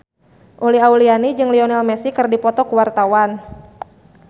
Uli Auliani jeung Lionel Messi keur dipoto ku wartawan